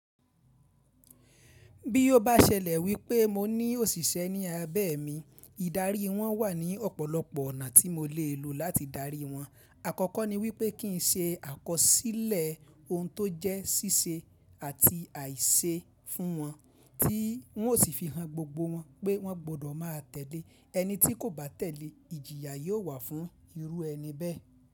Bí ó bá ṣẹlẹ̀ wípé mo ní òṣìṣẹ́ ní abẹ́ mi, ìdarí wọn wà ní ọ̀pọ̀lọpọ̀ ọ̀nà tí mo le e lò láti darí wọn. Àkọ́kọ́ ni wípé kí n ṣe àkọsílẹ̀ ohun tó jẹ́ síse àti àìse fún wọn, tí wọn ó sì fi han gbogbo wọn pé wọ́n gbọ́dọ̀ máa tẹ̀lé. Ẹni tí kò bá tẹ̀lé, ìjìyà yóò wà fún irú ẹni bẹ́ẹ̀